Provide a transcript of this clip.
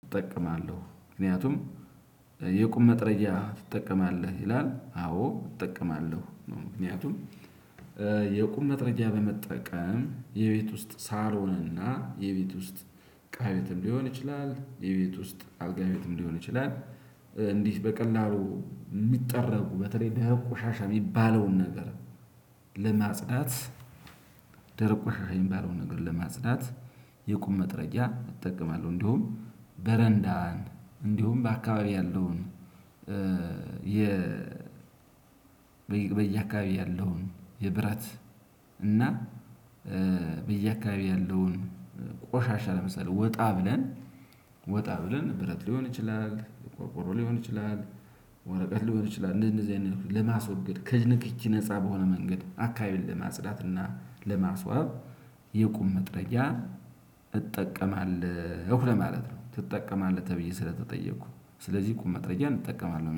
እጠቀማለሁ ምክንያቱም የቁም መጥረጊያ ትጠቀማለህ ይላል? አዎ እጠቀማለሁ ምክንያቱም የቁም መጥረጊያ በመጠቀም የቤት ውስጥ ሳሎንና ሆነና የቤት ውስጥ እቃ ቤትም ሊሆን ይችላል የቤት ውስጥ አልጋ ቤትም ሊሆን ይችላል እንዲህ በቀላሉ የሚጠረጉ በተለይ ደረቁ ሻሻ የሚባለውን ነገር ለማጽዳት ደረቅ ቆሻሻ የሚባለውን ነገር ለማጽዳት የቁም መጥረጊያ እጠቀማለሁ። እንደውም በረንዳን እንዲሁም በአካባቢው ያለውን የ በየአካባቢው ያለውን የብረት እና በየአካባቢው ያለውን ቆሻሻ ለምሳሌ ወጣ ብለን ወጣ ብለን ብረት ሊሆን ይችላል ቆርቆሮ ሊሆን ይችላል ወረቀት ሊሆን ይችላል እንደዚህ አይነት ለማስወገድ ከእጅ ንክኪ ነፃ በሆነ መንገድ አካባቢን ለማጽዳት እና ለማስዋብ የቁም መጥረጊያ እጠቀማለሁ ለማለት ነው። ትጠቀማለህ ተብየ ስለተጠየኩ ስለዚህ ቁም መጥረጊያን እጠቀማለሁ